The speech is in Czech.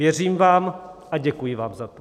Věřím vám a děkuji vám za to.